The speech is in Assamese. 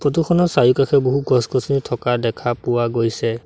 ফটো খনৰ চাৰিওকাষে বহু গছ-গছনি থকা দেখা পোৱা গৈছে।